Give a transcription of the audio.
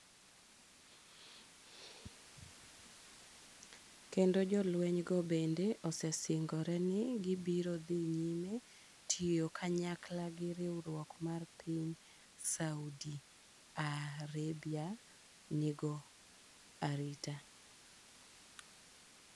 kendo jolweny go bende osesingore ni gibiro dhi nyime tiyo kanyakla gi riwruok mar piny Saudi Arabia nigo arita.